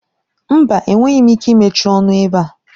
Mba! Enweghị m ike imechi ọnụ ebe a